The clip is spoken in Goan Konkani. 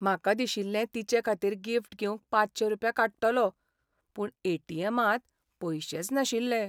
म्हाका दिशिल्लें तिचेखातीर गिफ्ट घेवंक पांचशे रुपया काडटलों, पूण ए टी एमांत पैशेच नाशिल्ले.